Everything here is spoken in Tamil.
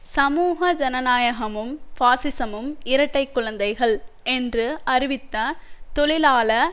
சமூக ஜனநாயகமும் பாசிசமும் இரட்டை குழந்தைகள் என்று அறிவித்த தொழிலாள